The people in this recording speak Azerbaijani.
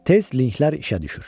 Tez linklər işə düşür.